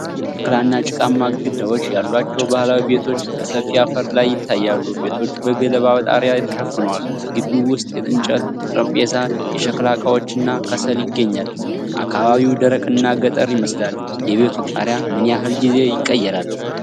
ሸክላ እና ጭቃማ ግድግዳዎች ያሏቸው ባህላዊ ቤቶች በሰፊ አፈር ላይ ይታያሉ። ቤቶቹ በገለባ ጣሪያ ተሸፍነዋል። በግቢው ውስጥ የእንጨት ጠረጴዛ፣ የሸክላ ዕቃዎች እና ከሰል ይገኛል። አካባቢው ደረቅና ገጠር ይመስላል። የቤቱ ጣሪያ ምን ያህል ጊዜ ይቀየራል?